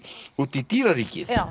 út í dýraríkið